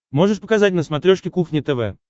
можешь показать на смотрешке кухня тв